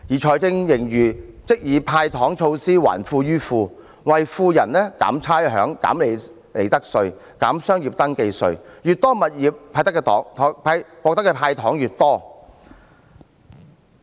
財政盈餘則以"派糖"措施，還富於富，為富人減差餉、減利得稅、減商業登記費，擁有越多物業，獲得的"糖"越多。